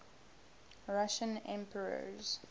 russian emperors